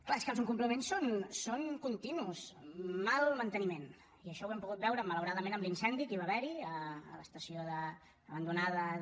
clar és que els incompliments són continus mal manteniment i això ho hem pogut veure malauradament amb l’incendi que hi va haver a l’estació abandonada de